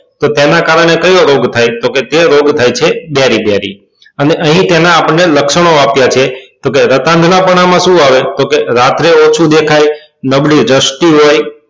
તો તેના કારણે કયો રોગ થાય તો કે તે રોગ થાય છે બેરી બેરી અને અહી આપણને તેના લક્ષણો આપ્યા છે તો કે રાત્ગનાપના માં શું આવે તો કે રાત્રે ઓછુ દેખાય નબળી હોય